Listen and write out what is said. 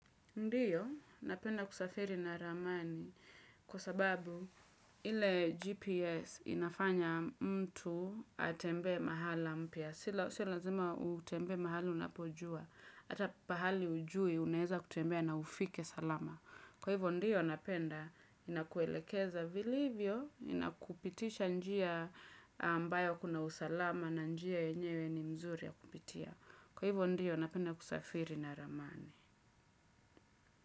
Ndiyo, napenda kusafiri na ramani kwa sababu ile GPS inafanya mtu atembee mahala mpya. Sio lazima utembe mahali unapojua. Hata pahali hujui, unaeza kutembea na ufike salama. Kwa hivyo, ndio napenda ninakuelekeza vilivyo, ninakupitisha njia ambayo kuna usalama na njia yenyewe ni mzuri ya kupitia. Kwa hivyo, napenda kusafiri na ramani.